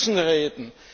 Wir müssen reden!